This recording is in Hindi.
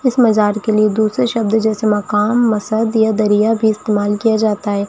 इस मजार के लिए दूसरे शब्द जैसे मकानमसद या दरिया भी इस्तेमाल किया जाता है।